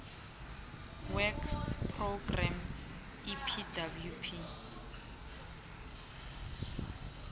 works programme epwp